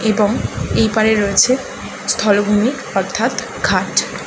এবং এই পারে রয়েছে স্থল ভূমি অর্থাৎ ঘাট।